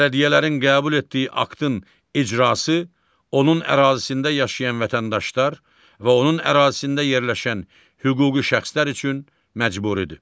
Bələdiyyələrin qəbul etdiyi aktın icrası onun ərazisində yaşayan vətəndaşlar və onun ərazisində yerləşən hüquqi şəxslər üçün məcburidir.